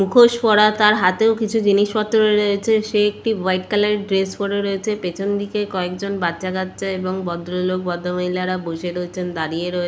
মুখোশ পরা তার হাতেও কিছু জিনিসপত্র রয়েছে সে একটি হোয়াইট কালার এর ড্রেস পরে রয়েছে পেছনদিকে কয়েকজন বাচ্চাকাচ্চা এবং ভদ্রলোক ভদ্র মহিলারা বসে রয়েছেন দাঁড়িয়ে রয়ে--